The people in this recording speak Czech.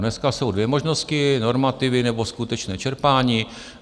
Dneska jsou dvě možnosti - normativy nebo skutečné čerpání.